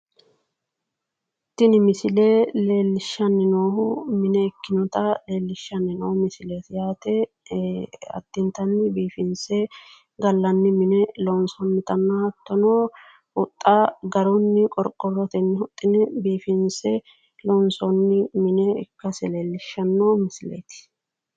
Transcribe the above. Tini misile leellishshanni noohu mine ikkinota leellishshanni noo misileeti yaate addintanni biifinse gallanni mine loonsoonnitanna hattono huxxa garunni qorqorrotenni huxxine biifinse loonsoonni mine ikkase leellishshanno misileeti.